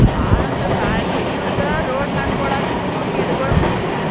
ಬಾಳ ಅಂದ್ರ್ ಬಾಳ್ರಿ. ಇವರ್ಗ್ road ಮಾಡ್ಕೊಳಾಕನು ಗಿಡಗೋಳ್ ಕಡಿತಾರ.